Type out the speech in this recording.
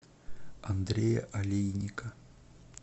андрея олейника